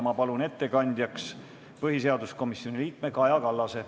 Ma palun ettekandjaks põhiseaduskomisjoni liikme Kaja Kallase.